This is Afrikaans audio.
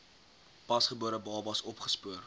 pasgebore babas opgespoor